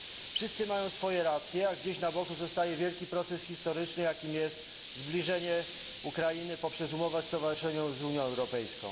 Wszyscy mają swoje racje, a gdzieś za boku zostaje wielki proces historyczny, jakim jest zbliżenie Ukrainy poprzez umowę stowarzyszeniową z Unia Europejską.